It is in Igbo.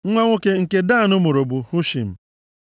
Nwa nwoke nke Dan mụrụ bụ, Hushim.